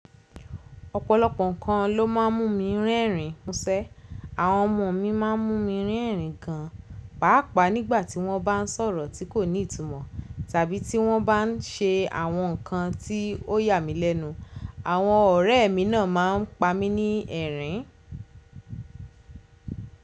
Ọ̀pọ̀lọpọ̀ nǹkan ló má ń mú mi rerín musẹ́. Àwọn ọmọ mi má ń mú mi rín ẹ̀rín gan, pàápàá nígbàtí wọ́n bá ń sọ̀rọ̀ tí kò ní ìtumọ̀ tàbí tí wọ́n bá ń ṣe àwọn nǹkan tí ó yà mí lẹ́nu. Àwọn ọ̀rẹ́ mi náà má ń pa mí ní ẹ̀rín.